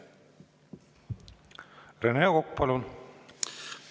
Rene Kokk, palun!